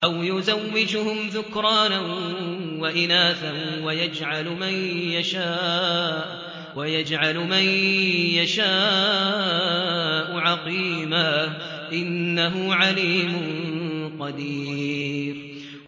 أَوْ يُزَوِّجُهُمْ ذُكْرَانًا وَإِنَاثًا ۖ وَيَجْعَلُ مَن يَشَاءُ عَقِيمًا ۚ إِنَّهُ عَلِيمٌ قَدِيرٌ